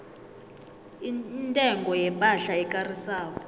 intengo yepahla ekarisako